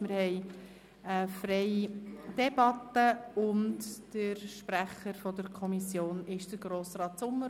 Wir führen eine freie Debatte, und der Kommissionssprecher ist Grossrat Sommer.